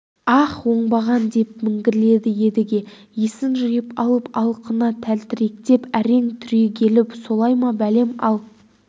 аһ оңбаған деп міңгірледі едіге есін жиып алып алқына тәлтіректеп әрең түрегеліп солай ма бәлем ал